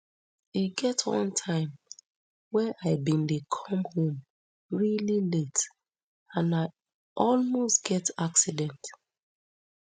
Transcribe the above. e get one time wey i bin dey come home really late and i almost get accident